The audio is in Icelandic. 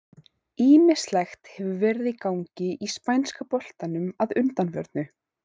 Ýmislegt hefur verið í gangi í spænska boltanum að undanförnu.